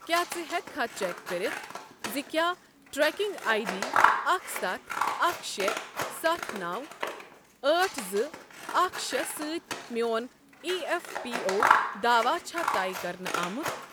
کیٛاہ ژٕ ہیٚککھا چیک کٔرتھ زِ کیٛاہ ٹریکنگ آٮٔۍ ڈی اکھ ستھ اکھ شٚے ستھ نَو أٹھ زٕ اکھ شٚے سۭتۍ میٚون ایی ایف پی او داواہ چھا طے کَرنہٕ آمُت؟